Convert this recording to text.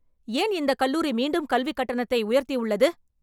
ஏன் இந்த கல்லூரி மீண்டும் கல்வி கட்டணத்தை உயர்த்தி உள்ளது.